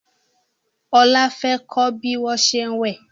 Ola fè kò bí wón ṣe wẹ